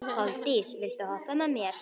Koldís, viltu hoppa með mér?